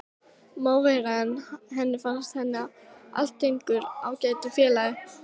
Má vera, en henni fannst hann allténd ágætur félagi.